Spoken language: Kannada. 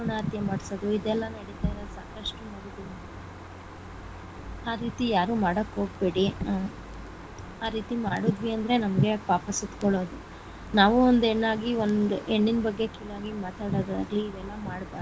ಭ್ರೂಣಹತ್ಯ ಮಾಡ್ಸೋದು ಇದೆಲ್ಲ ನೆಡಿತ ಇರೋದು ಸಾಕಷ್ಟು ನೋಡಿದಿವಿ ಆ ರೀತಿ ಯಾರು ಮಾಡೋಕ್ ಹೋಗಬೇಡಿ ಆ ರೀತಿ ಮಾಡ್ದ್ವಿ ಅಂದ್ರೆ ನಮ್ಗೆ ಪಾಪ ಸುತ್ತಕೊಳ್ಳೋದು ನಾವು ಒಂದು ಹೆಣ್ಣಾಗಿ ಒಂದು ಹೆಣ್ಣಿನ ಬಗ್ಗೆ ಕೀಳಾಗಿ ಮಾತಾಡೋದು ಆಗ್ಲಿ ಇವೆಲ್ಲ ಮಾಡ್ಬಾರದು.